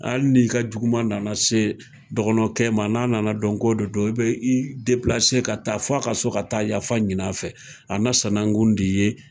Hali ni ka juguman nana se dɔgɔnɔkɛ ma n'a nana dɔn ko de don i be i ka taa fo a ka so ka taa yafa ɲini a fɛ , a na sanakun de y'i ye.